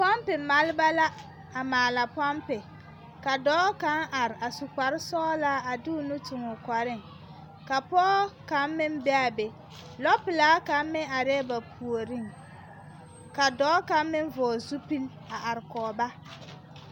Pɔmpe malba la a maala pɔmpe ka dɔɔ kaŋ are a su kparsɔglaa a de o nu tuŋ o kɔreŋ ka pɔge kaŋ meŋ be a be lɔpelaa kaŋ meŋ arɛɛ ba puoriŋ ka dɔɔ kaŋ meŋ vɔgle zupil a are kɔge ba.